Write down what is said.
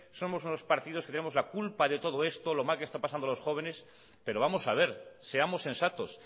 somos unos partidos que tenemos la culpa de todo de esto lo mal que está pasando los jóvenes pero vamos a ver seamos sensatos